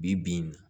Bi bi in